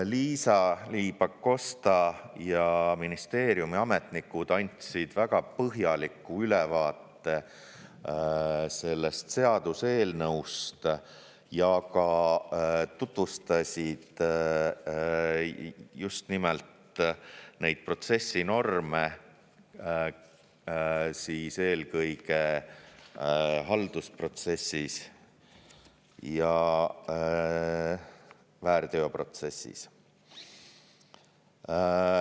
Liisa-Ly Pakosta ja ministeeriumi ametnikud andsid väga põhjaliku ülevaate sellest seaduseelnõust ja ka tutvustasid just nimelt neid protsessinorme, eelkõige haldusprotsessis ja väärteoprotsessis.